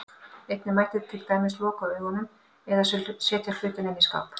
Einnig mætti til dæmis loka augunum, eða setja hlutinn inn í skáp.